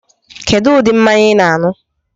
Kedu ụdị mmanya I na-anu?